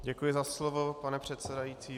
Děkuji za slovo, pane předsedající.